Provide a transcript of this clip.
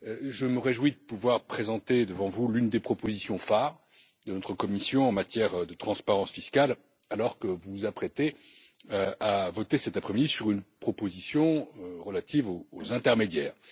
Je me réjouis de pouvoir présenter devant vous l'une des propositions phares de notre Commission en matière de transparence fiscale alors que vous vous apprêtez à voter cet après midi sur une proposition relative aux intermédiaires.